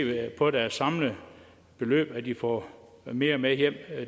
på deres samlede beløb at de får mere med hjem